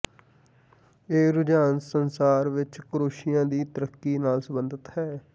ਇਹ ਰੁਝਾਨ ਸੰਸਾਰ ਵਿੱਚ ਕਰੋਸ਼ੀਆ ਦੀ ਤਰੱਕੀ ਨਾਲ ਸਬੰਧਤ ਹੈ